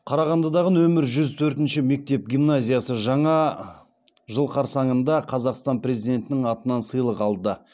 қарағандыдағы нөмірі жүз төртінші мектеп гимназиясы жаңа жыл қарсаңында қазақстан президентінің атынан сыйлық алды